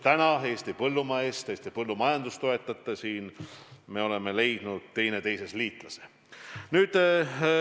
Aga nüüd te tahate Eesti põllumajandust toetada ja me oleme teineteises liitlase leidnud.